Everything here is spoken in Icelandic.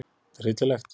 Þetta er hryllilegt